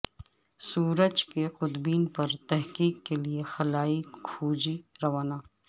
سورج کے قطبین پر تحقیق کےلیے خلائی کھوجی روانہ